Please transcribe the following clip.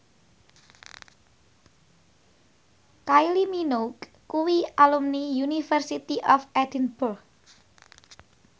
Kylie Minogue kuwi alumni University of Edinburgh